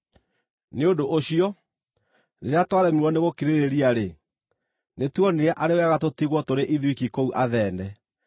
Nĩ ũndũ ũcio, rĩrĩa twaremirwo nĩgũkirĩrĩria-rĩ, nĩtuonire arĩ wega tũtigwo tũrĩ ithuiki kũu Athene.